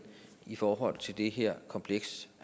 i forhold til det her kompleks